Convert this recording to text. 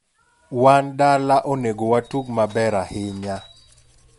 Wan dala onego watug maber ahinya.